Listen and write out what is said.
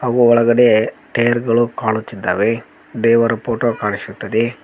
ಊ ಒಳಗಡೆ ಟೈರ್ ಗಳು ಕಾಣುತ್ತಿದ್ದಾವೆ ದೇವರ ಫೋಟೋ ಕಾಣಿಸುತ್ತದೆ.